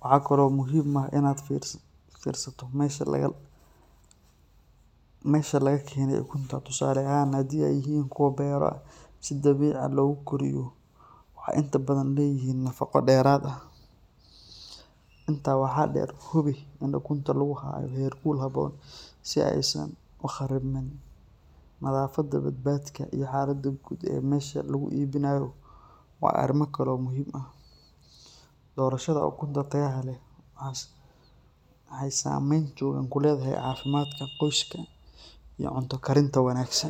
waxaa kalo muhiim ah in aad aqriso mesha laga kene ukunta tusale ahan hadii ee yihin kuwa bera guryo waxee inta badan deraad ah inta waxaa der ukunta lagu hayo her cusub u qaribme mesha lagu ibinayo waa arima kalo muhiim ah dorashaada ukunta mexee samen kuledhahay qoska wanagsan ee cunta karinta.